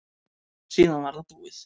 Síðan var það búið.